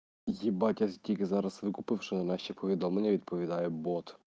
спасибо тебе за рассылку павшино настя повидомлення видповидае боб